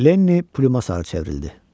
Leni plyuma sarı çevrildi.